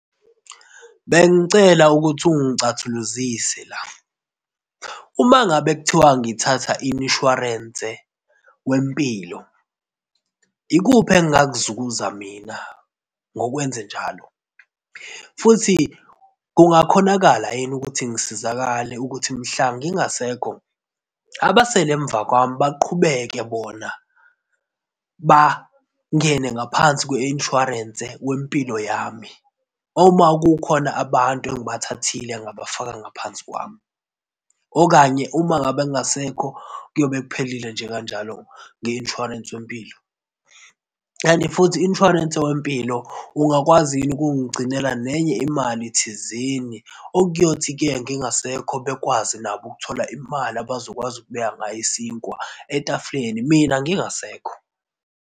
Bengicela ukuthi ungicathuluzise la. Uma ngabe kuthiwa ngithatha imshwarense wempilo ikuphi engingakuzuza mina ngokwenze njalo futhi kungakhonakala yini ukuthi ngisizakale ukuthi mhla ngingasekho, abasele emva kwami baqhubeke bona bangene ngaphansi kwe-insurance wempilo yami. Uma kukhona abantu engibathathile ngabafaka ngaphansi kwami, okanye uma ngabe kungasekho kuyobe kuphela nje kanjalo nge-insurance wempilo? And futhi u-insurance wempilo ungakwazi yini ukuthi ungigcinele nenye imali thizeni okuyothi-ke ngingasekho bekwazi nabo ukuthola imali abazokwazi ukubeka ngayo isinkwa etafuleni, mina ngingasekho.